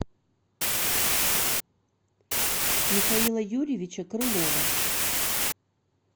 михаила юрьевича крылова